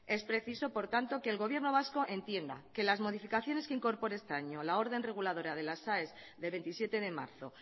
es preciso por tanto que el gobierno vasco entienda que las modificaciones que incorpore este año la orden reguladora de las aes de veintisiete de marzo